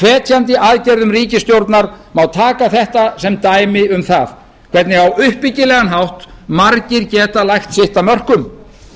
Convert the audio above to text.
hvetjandi aðgerðum ríkisstjórnar má taka þetta sem dæmi um það hvernig á uppbyggilegan hátt margir geta lagt sitt af mörkum